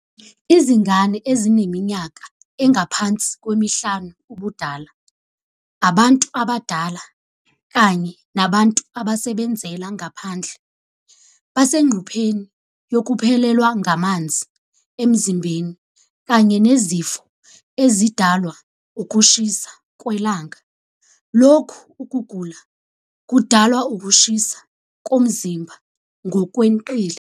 Izingane ezineminyaka engaphansi kwemihlanu ubudala, abantu abadala kanye nabantu abasebenzela ngaphandle basengcupheni yokuphelelwa ngamanzi emzimbeni kanye nesifo esidalwa ukushisa kwelanga, lokhu ukugula okudalwa ukushisa komzimba ngokweqile.